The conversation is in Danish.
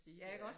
Ja ik også